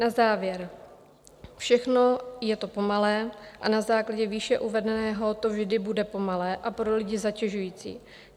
Na závěr: Všechno je to pomalé a na základě výše uvedeného to vždy bude pomalé a pro lidi zatěžující.